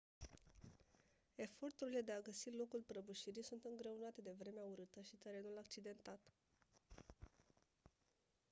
eforturile de a găsi locul prăbușirii sunt îngreunate de vremea urâtă și terenul accidentat